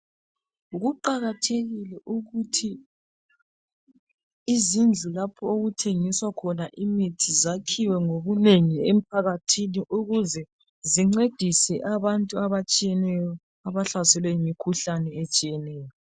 Kuqakathekile ukuthi izindlu lapho okuthengiswa khona imithi zakhiwe ngobunengi emphakathini ukuze zincedise abantu abatshiyeneyo abahlaselwe yimikhuhlane.